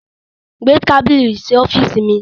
Gbé tábílì sí ọ̀fììsì mi!